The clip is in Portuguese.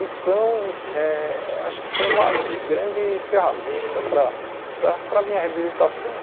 Então, eh acho que foi uma grande ferramenta para para para a minha reabilitação.